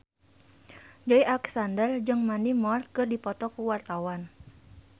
Joey Alexander jeung Mandy Moore keur dipoto ku wartawan